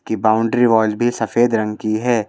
की boundary wall भी सफेद रंग की है।